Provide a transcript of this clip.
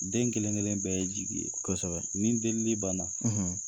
Den kelen-kelen bɛɛ ye jigi ye. Kosɛbɛ. Ni delili banna